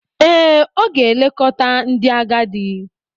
Ee, ọ ga-elekọta ndị agadi.